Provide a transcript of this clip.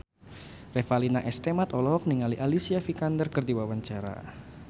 Revalina S. Temat olohok ningali Alicia Vikander keur diwawancara